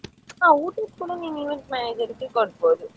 ಹಾ ಊಟದ್ದು ಕೂಡ ನೀನು event manager ಗೆ ಕೊಡಬೋದು.